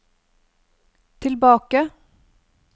tilbake